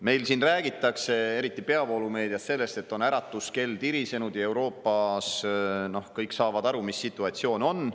Meil siin räägitakse, eriti peavoolumeedias, sellest, et äratuskell on tirisenud ja Euroopas kõik saavad aru, mis situatsioon on.